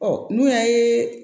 Ɔ n'o y'a ye